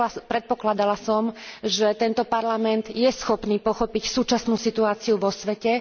Predpokladala som, že tento Parlament je schopný pochopiť súčasnú situáciu vo svete.